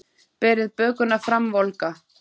Berið bökuna fram volga.